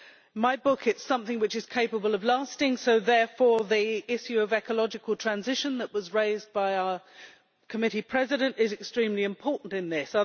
In my book, it is something which is capable of lasting, therefore the issue of ecological transition that was raised by our committee president is extremely important in this